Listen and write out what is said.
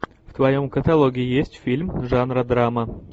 в твоем каталоге есть фильм жанра драма